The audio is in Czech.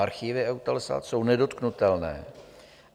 Archivy EUTELSAT jsou nedotknutelné.